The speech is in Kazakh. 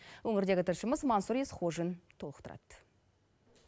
өңірдегі тілшіміз мансұр есқожин толықтырады